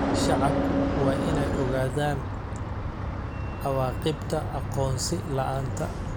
Shacabku waa inay ogaadaan cawaaqibka aqoonsi la'aanta.